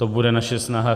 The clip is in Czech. To bude naše snaha.